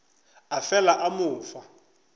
a fela a mo fa